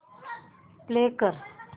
play कर